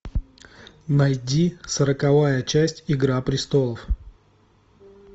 найди сороковая часть игра престолов